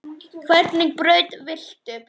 Hvernig brauð viltu?